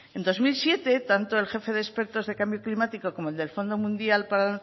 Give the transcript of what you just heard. en dos mil siete tanto el jefe de expertos de cambio climático como el del fondo mundial para